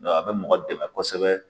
a bɛ mɔgɔ dɛmɛ kosɛbɛ.